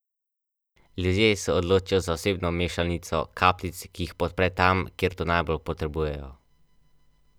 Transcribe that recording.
Res pa je tudi, da v sodobnem, močnem in pametnem avtomobilu človek po temperamentnih cestah bolj sproščeno niza kilometre.